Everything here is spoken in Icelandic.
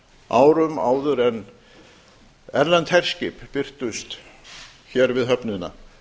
árum áður en erlend herskip birtust hér við höfnina